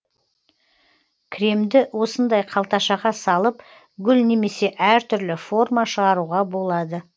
кремді осындай қалташаға салып гүл немесе әртүрлі форма шығаруға болады